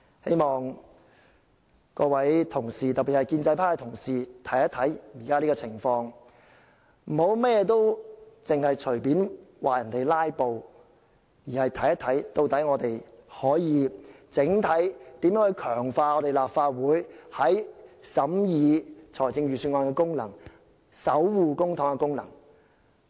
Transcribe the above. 希望各位同事，特別是建制派同事，看看現時的情況，不要隨便指責其他議員"拉布"，而要探討我們如何能整體強化立法會審議預算案和守護公帑的功能。